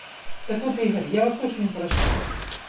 так вот игорь я вас очень прошу